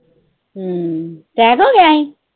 ਹੂੰ, attack ਹੋ ਗਿਆ ਸੀ।